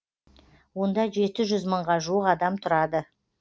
онда жеті жүз мыңға жуық адам тұрады